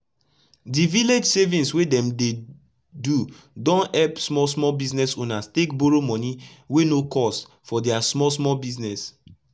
d village savings wey dem dey do don epp small small business owners take borrow moni wey no cost for dia small small business